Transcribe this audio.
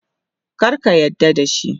Kar ka yarda da shi.